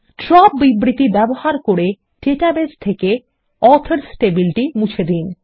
drop বিবৃতি ব্যবহার করে ডাটাবেস থেকে অথর্স টেবিল মুছে দিন